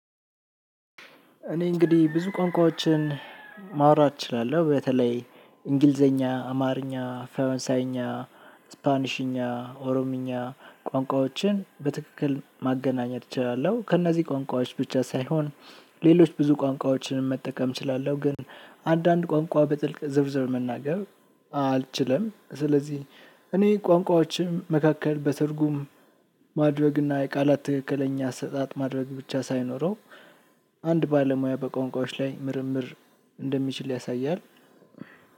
እኔ እንግዲህ ብዙ ቋንቋዎችን ማውራት እችላለሁ። በተለይ እንግሊዘኛ፣ አማርኛ፣ ፈረንሳይኛ፣ ስፓኒሽኛ፣ ኦሮምኛ ቋንቋዎችን በትክክል ማገናኘት እችላለሁ ከእነዚህ ቋንቋዎች ብቻ ሳይሆን ሌሎች ብዙ ቋንቋዎችን መጠቀም እችላለሁ። ግን አንዳንድ ቋንቋ በጥልቅ ዝርዝር መናገር አልችልም። ስለዚህ እኔ ቋንቋዎችም መካከል በትርጉም ማድረግና የቃላት ትክክለኛ አሰጣጥ ማድረግ ብቻ ሳይኖረው አንድ ባለ ሞያ በቋንቋዎች ላይ ምርምር እንደሚችል ያሳያል።